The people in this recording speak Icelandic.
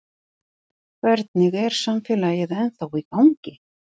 Hvernig er samfélagið ennþá í gangi?